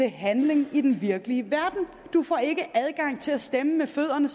i handling i den virkelige verden du får ikke som adgang til at stemme med fødderne